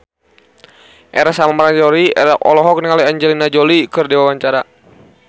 Ersa Mayori olohok ningali Angelina Jolie keur diwawancara